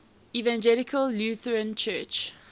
evangelical lutheran church